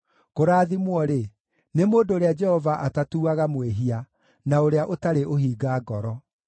Kũrathimwo-rĩ, nĩ mũndũ ũrĩa Jehova atatuaga mwĩhia, na ũrĩa ũtarĩ ũhinga ngoro.